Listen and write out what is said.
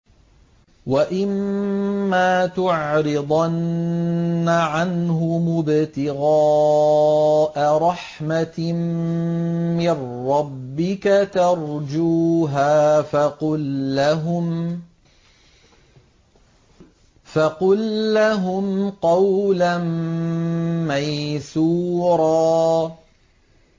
وَإِمَّا تُعْرِضَنَّ عَنْهُمُ ابْتِغَاءَ رَحْمَةٍ مِّن رَّبِّكَ تَرْجُوهَا فَقُل لَّهُمْ قَوْلًا مَّيْسُورًا